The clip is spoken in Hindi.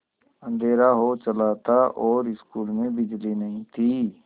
अँधेरा हो चला था और स्कूल में बिजली नहीं थी